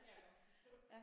Det kan jeg godt forstå